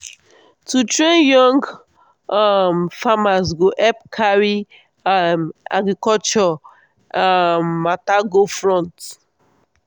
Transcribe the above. to train young um farmers go help carry um agriculture um matter go front.